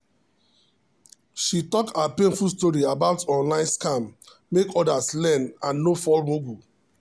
she talk her painful story about online scam make others learn and no fall mugu.